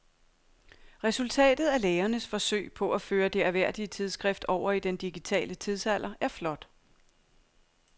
Resultatet af lægernes forsøg på at føre det ærværdige tidsskrift over i den digitale tidsalder er flot.